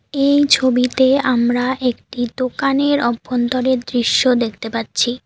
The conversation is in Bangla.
এই ছবিতে আমরা একটি দোকানের অভ্যন্তরের দৃশ্য দেখতে পাচ্ছি।